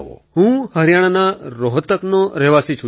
અખિલ હું હરિયાણાના રોહતકનો રહેવાસી છું સર